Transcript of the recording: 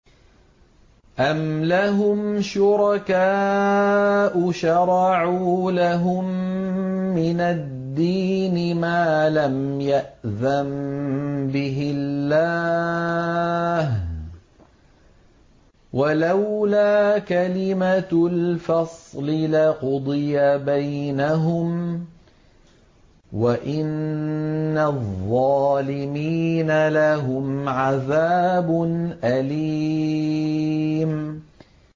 أَمْ لَهُمْ شُرَكَاءُ شَرَعُوا لَهُم مِّنَ الدِّينِ مَا لَمْ يَأْذَن بِهِ اللَّهُ ۚ وَلَوْلَا كَلِمَةُ الْفَصْلِ لَقُضِيَ بَيْنَهُمْ ۗ وَإِنَّ الظَّالِمِينَ لَهُمْ عَذَابٌ أَلِيمٌ